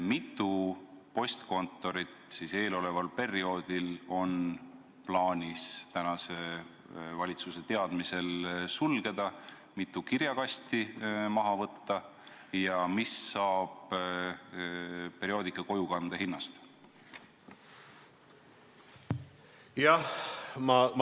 Mitu postkontorit on eeloleval perioodil plaanis valitsuse teada sulgeda, mitu kirjakasti maha võtta ja mis saab perioodika kojukande hinnast?